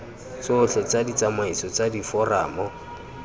tsotlhe tsa ditsamaiso tsa diforamo